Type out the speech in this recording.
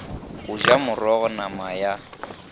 go ja morogo nama ya